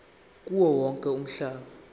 kuwo wonke umhlaba